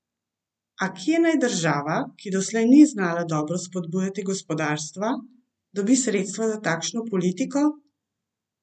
A kje naj država, ki doslej ni znala dobro spodbujati gospodarstva, dobi sredstva za takšno politiko?